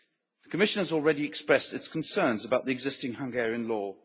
The Commission has already expressed its concerns about the existing Hungarian law.